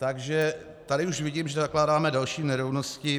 Takže tady už vidím, že zakládáme další nerovnosti.